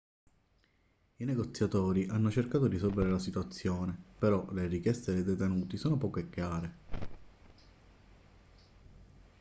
i negoziatori hanno cercato di risolvere la situazione però le richieste dei detenuti sono poco chiare